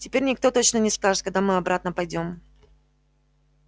теперь никто точно не скажет когда мы обратно пойдём